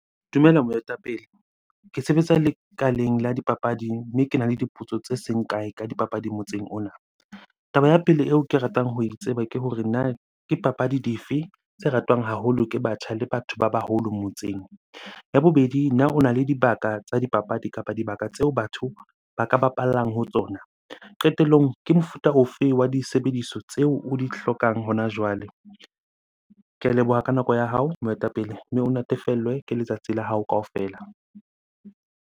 Dumela moetapele. Ke sebetsa lekaleng la dipapadi mme kena le dipotso tse seng kae ka dipapadi motseng ona. Taba ya pele eo ke ratang ho e tseba ke hore na ke papadi dife tse ratwang haholo ke batjha le batho ba baholo motseng? Ya bobedi, na ona le dibaka tsa dipapadi kapa dibaka tseo batho ba ka bapallang ho tsona? Qetellong ke mofuta o fe wa disebediswa tseo o di hlokang hona jwale? Ke a leboha ka nako ya hao moetapele, mme o natefellwe ke letsatsi la hao kaofela.